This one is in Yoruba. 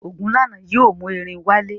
Ogunlana yóò mú erin wálé.